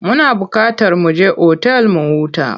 Muna buƙatar mu je otal mu huta.